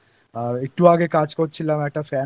লাগছে আমার আর একটু আগে কাজ করছিলাম একটু আগে একটা